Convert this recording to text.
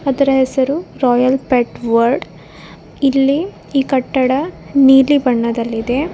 ಅದರ ಹೆಸರು Royal Pet World ಇಲ್ಲಿ ಈ ಕಟ್ಟಡ ನೀಲಿ ಬಣ್ಣದಲ್ಲಿದೆ.